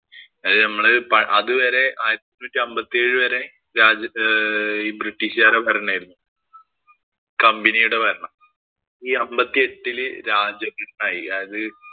അത് നമ്മള് അത് വരെ ആയിരത്തി എണ്ണൂറ്റി അമ്പത്തിയേഴ് വരെ രാജ ഈ ബ്രിട്ടീഷുകാരുടെ ഭരണം ആയിരുന്നു. company യുടെ ഭരണം. ഈ അമ്പത്തിയെട്ടില് രാജഭരണം ആയി. അത്